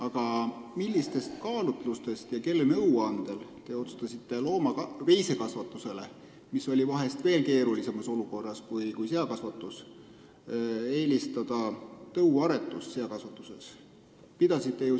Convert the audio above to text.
Aga millistel kaalutlustel ja kelle nõuandel te otsustasite veisekasvatusele, mis oli seakasvatusest vahest veel keerulisemas olukorras, eelistada tõuaretust seakasvatuses?